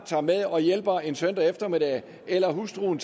tager med og hjælper en søndag eftermiddagen eller hustruen